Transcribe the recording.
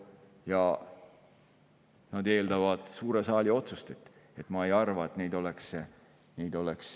Ja need otsused eeldavad suure saali otsust.